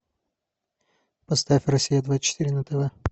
поставь россия двадцать четыре на тв